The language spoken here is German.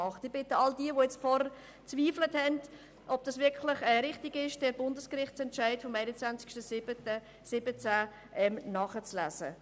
Ich bitte all jene, die vorher an der Richtigkeit zweifelten, diesen Bundesgerichtsentscheid vom 21. 07. 2017 nachzulesen.